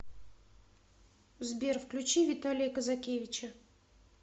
сбер включи виталия казакевича